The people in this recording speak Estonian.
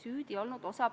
Ma tänan!